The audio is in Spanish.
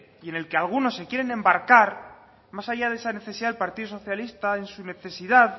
y en el que algunos se quieren embarcar más allá de esa necesidad el partido socialista en su necesidad